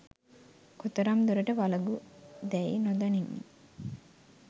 කොතරම් දුරට වලගු දැයි නොදනිමි